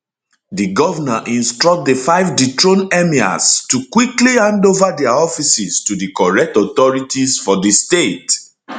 di govnor instruct di five dethroned emirs to emirs to quickly hand ova dia offices to di correct authorities for di state